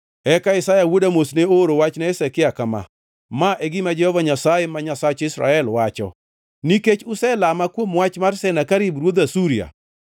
Eka Isaya wuod Amoz ne ooro wach ne Hezekia kama: “Ma e gima Jehova Nyasaye, ma Nyasach Israel, wacho: Nikech uselama kuom wach mar Senakerib ruodh Asuria,